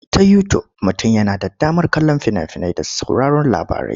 Ta Yutub mutum yana da damar kallon fina-finai da sauraron labarai.